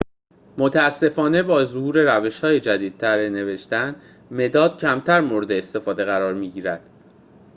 متأسفانه با ظهور روش‌های جدیدتر نوشتن مداد کمتر مورد استفاده قرار می‌گیرد